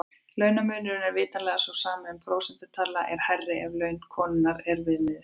Launamunurinn er vitanlega sá sami en prósentutalan er hærri ef laun konunnar er viðmiðið.